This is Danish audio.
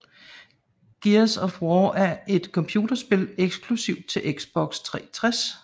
Gears of War 2 er et computerspil eksklusivt til Xbox 360